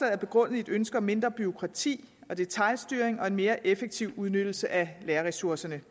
er begrundet i et ønske om mindre bureaukrati og detailstyring og en mere effektiv udnyttelse af lærerressourcerne